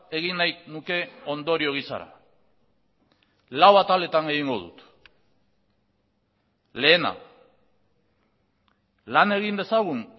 egin nahi nuke ondorio gisara lau ataletan egingo dut lehena lan egin dezagun